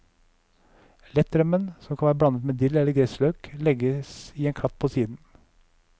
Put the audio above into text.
Lettrømmen, som kan være blandet med dill eller gressløk, legges i en klatt på siden.